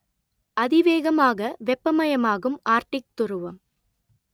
அதிவேகமாக வெப்பமயமாகும் ஆர்க்டிக் துருவம்